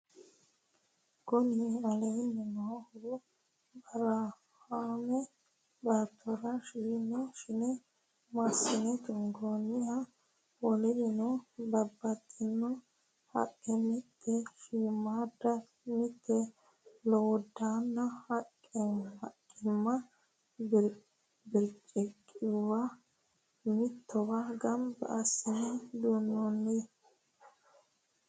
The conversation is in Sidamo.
Kuni leellannohu barahaame baattora ishine massine tungoonniho wolirino babbaxxitino haqqe mite shiimmaadda mite lowiddaannanna hiiqqaqqamino birciqquwa mittowa gamba assine duunnoonni